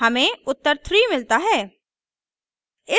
हमें उत्तर 3 मिलता है